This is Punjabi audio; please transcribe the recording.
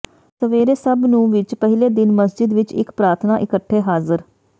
ਸਵੇਰੇ ਸਭ ਨੂੰ ਵਿਚ ਪਹਿਲੇ ਦਿਨ ਮਸਜਿਦ ਵਿੱਚ ਇੱਕ ਪ੍ਰਾਰਥਨਾ ਇਕੱਠੇ ਹਾਜ਼ਰ